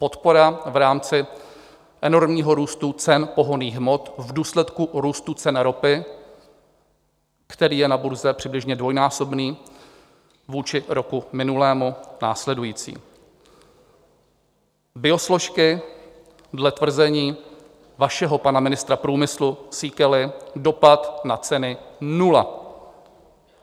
Podpora v rámci enormního růstu cen pohonných hmot v důsledku růstu cen ropy, který je na burze přibližně dvojnásobný vůči roku minulému, následující: biosložky dle tvrzení vašeho pana ministra průmyslu Síkely, dopad na ceny - nula.